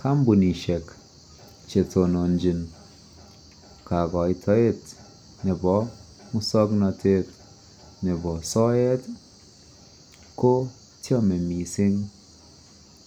kompunishek chetononchi kogoitoet nebo muswagnotet nebo soet iih, kochome mising